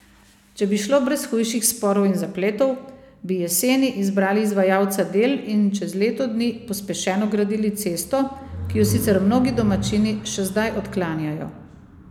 Če bi šlo brez hujših sporov in zapletov, bi jeseni izbrali izvajalca del in čez leto dni pospešeno gradili cesto, ki jo sicer mnogi domačini še zdaj odklanjajo.